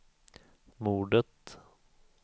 mordet